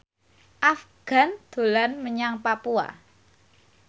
Afgan dolan menyang Papua